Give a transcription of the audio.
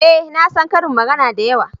eh na san ƙarin magana da yawa